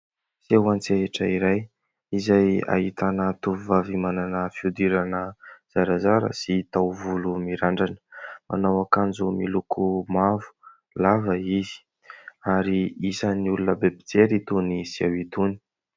Seho an-tsehatra iray izay ahitana tovovavy manana fihodirana zarazara sy taovolo mirandrana. Manao akanjo miloko mavo lava izy ary isany olona be mpijery itony seho itony.